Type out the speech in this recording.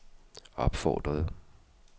opfordrede